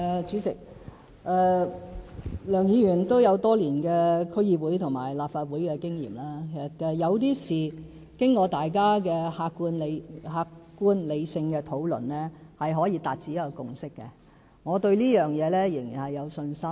主席，梁議員有多年區議會和立法會經驗，有些事情經過大家的客觀理性討論，是可以達致共識的，我對這一點仍然有信心。